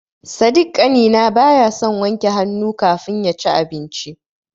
Sadik ƙanina baya son wanke hannu kafin yaci abinci.